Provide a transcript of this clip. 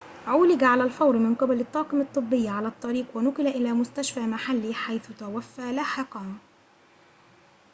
عولج على الفور من قبل الطاقم الطبي على الطريق ونُقل إلى مستشفى محلي حيث توفي لاحقاً